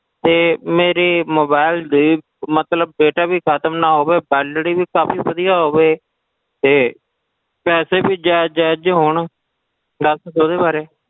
ਤੇ ਮੇਰੇ mobile ਦੇ ਮਤਲਬ data ਵੀ ਖ਼ਤਮ ਨਾ ਹੋਵੇ validity ਵੀ ਕਾਫ਼ੀ ਵਧੀਆ ਹੋਵੇ ਤੇ ਪੈਸੇ ਵੀ ਜ਼ਾਇਜ ਜ਼ਾਇਜ ਜਿਹੇ ਹੋਣ, ਦੱਸ ਦਓ ਉਹਦੇ ਬਾਰੇ।